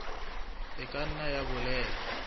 e ka nna ya bolela